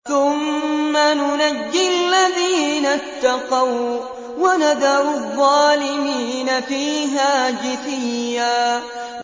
ثُمَّ نُنَجِّي الَّذِينَ اتَّقَوا وَّنَذَرُ الظَّالِمِينَ فِيهَا جِثِيًّا